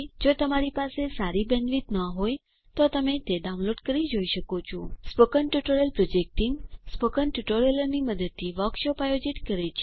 જો તમારી પાસે સારી બેન્ડવિડ્થ ન હોય તો તમે ડાઉનલોડ કરી તે જોઈ શકો છો spoken tutorial project team spoken ટ્યુટોરીયલોની મદદથી વર્કશોપ આયોજિત કરે છે